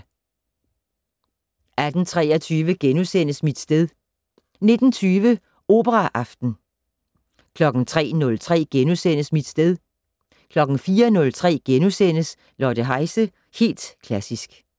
18:23: Mit sted * 19:20: Operaaften 03:03: Mit sted * 04:03: Lotte Heise - Helt Klassisk *